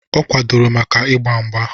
Ọ kwadororo maka ịgba mgba